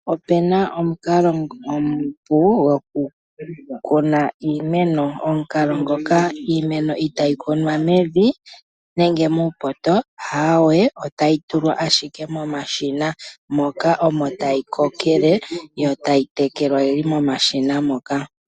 Opuna omukalo omupu goku kuna iimeno, omukalo ngoka iimeno itayi kunwa mevi nenge muupoto. Aawe otayi tulwa ashike mo mashina moka omo tayi kokele, yo tayi tekelwa yili mo mashina moka.